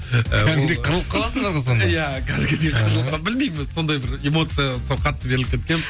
кәдімгідей қырылып қаласыңдар ғой сонда иә кәдімгідей қырылып білмеймін өзі сондай бір эмоцияға сол қатты беріліп кеткенмін